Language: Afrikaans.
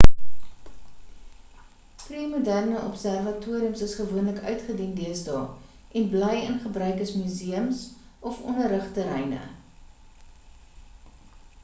pre-moderne observatoriums is gewoonlik uitgedien deesdae en bly in gebruik as museums of onderrigterreine